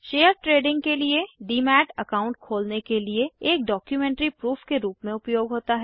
share trading के लिए demat account खोलने के लिए एक डॉक्युमेंट्री प्रूफ के रूप में उपयोग होता है